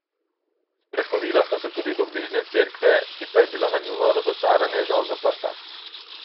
Sprehodila sta se tudi do bližnje cerkve, ki pa je bila na njuno razočaranje žal zaprta.